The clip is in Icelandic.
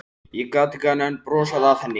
Ég gat ekki annað en brosað að henni.